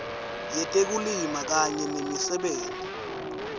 yetekulima kanye nemisebenti